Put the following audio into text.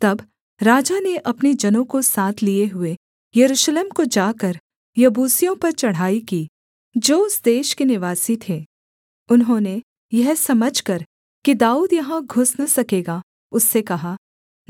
तब राजा ने अपने जनों को साथ लिए हुए यरूशलेम को जाकर यबूसियों पर चढ़ाई की जो उस देश के निवासी थे उन्होंने यह समझकर कि दाऊद यहाँ घुस न सकेगा उससे कहा